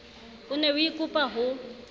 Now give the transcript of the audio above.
o ne o ikopa ho